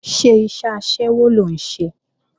Ṣé iṣẹ́ aṣẹ́wó ló ń ṣe?